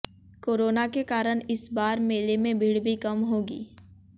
corona के कारण इस बार मेले में भीड़ भी कम होगी